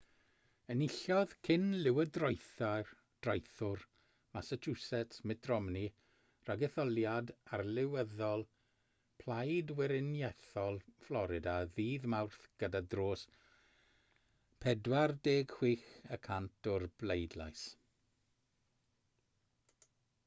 enillodd cyn-lywodraethwr massachusetts mitt romney ragetholiad arlywyddol plaid weriniaethol florida ddydd mawrth gyda dros 46 y cant o'r bleidlais